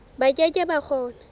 ba ke ke ba kgona